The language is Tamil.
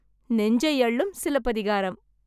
நெஞ்சை அள்ளும் சிலப்பதிகாரம்!